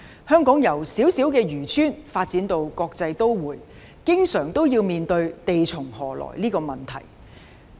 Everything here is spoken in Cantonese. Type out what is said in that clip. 香港由小小漁村發展至國際都會，經常要面對"地從何來"這個問題。